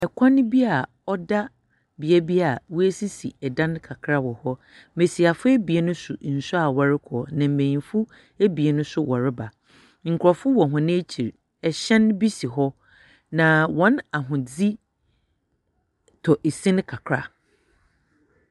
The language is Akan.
Ɛkwan bi a ɔda beae bi a w'asisi ɛdan kakra ɛwɔ hɔ. Mmesiafo abien so nsuo a wɔrekɔ ne mbenyinfo abien nso wɔreba. Nkurofo wɔ wɔn akyiri. Ɛhyɛn bi si hɔ. Naa wɔn ahondze tɔ esin kakra.